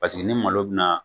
Pa paseke ni malo bina